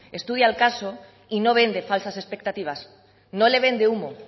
estudia el caso y no vende falsas expectativas no le vende humo